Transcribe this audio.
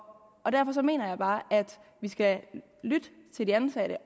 og derfor mener jeg bare at vi skal lytte til de ansatte